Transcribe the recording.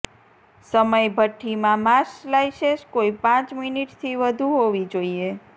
સમય ભઠ્ઠીમાં માંસ સ્લાઇસેસ કોઈ પાંચ મિનિટથી વધુ હોવી જોઈએ